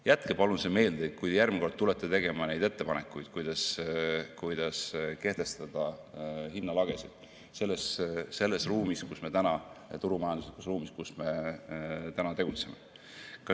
Jätke palun see meelde, kui järgmine kord tulete tegema ettepanekuid, kuidas kehtestada hinnalagesid selles turumajanduslikus ruumis, kus me tegutseme.